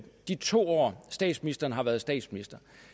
de to år statsministeren har været statsminister